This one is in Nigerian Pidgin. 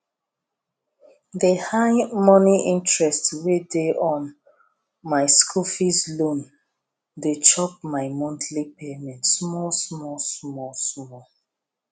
the high monie interest wey dey on my school loan dey chop my monthly payment small small small small